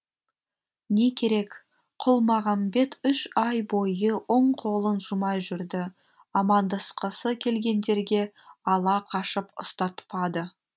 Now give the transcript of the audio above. не керек құлмағамбет үш ай бойы оң қолын жумай жүрді амандасқысы келгендерге ала қашып ұстатпады